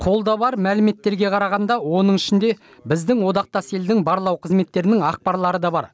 қолда бар мәліметтерге қарағанда оның ішінде біздің одақтас елдің барлау қызметтерінің ақпарлары да бар